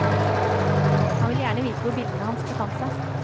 Han ville gjerne vite hvor bildene hans befant seg.